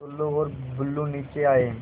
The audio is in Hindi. टुल्लु और बुल्लु नीचे आए